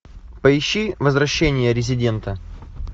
поищи возвращение резидента